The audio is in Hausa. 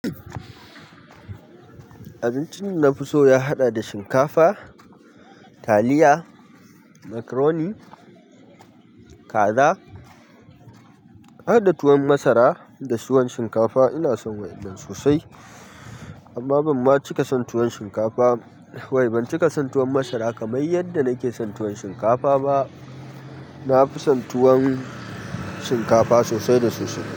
Abincin dana fi so ya haɗa shinkafa taliya makaroni kaza harda tuwon masara da tuwon shinkafa ina son waɗannan sosai amma ban ma cika son tuwon shinkafa. Wai ban cika son tuwon masara kamar yadda nake son tuwon shinkafa ba. Na fi son tuwon shinkafa sosai da sosai.